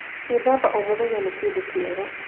Gwĩthamba o mũthenya nĩ kĩndũkĩega